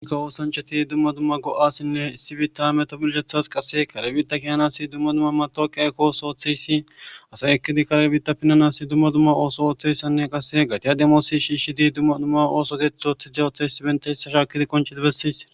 ikka oosancheti dumma dumma go7asinne issibita metobilgethas qasse kargibita kiyanasi dumma dumma matoqi aykkooso ooththeyssi asay ekkidi kargibita pinanasi dumma dumma ooso ooththeyssanne qasse gatiya demoosi shii shidi dumma dumma ooso dethothi da othassi benta hissa shaakidi konchedi bessiis